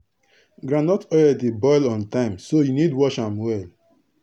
groundnut oil dey boil on time so u need watch am well.